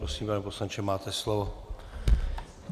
Prosím, pane poslanče, máte slovo.